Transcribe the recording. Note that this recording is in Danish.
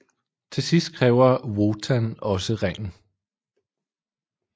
Til sidst kræver Wotan også ringen